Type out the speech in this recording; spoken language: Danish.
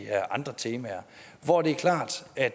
her andre temaer og det er klart at